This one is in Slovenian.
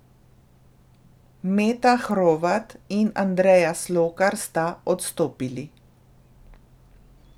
Meta Hrovat in Andreja Slokar sta odstopili.